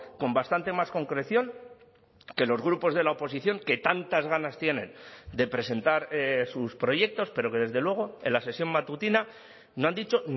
con bastante más concreción que los grupos de la oposición que tantas ganas tienen de presentar sus proyectos pero que desde luego en la sesión matutina no han dicho